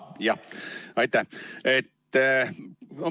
Jah, aitäh!